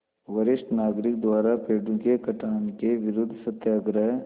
वरिष्ठ नागरिक द्वारा पेड़ों के कटान के विरूद्ध सत्याग्रह